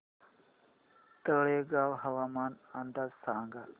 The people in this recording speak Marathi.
तळेगाव हवामान अंदाज सांगा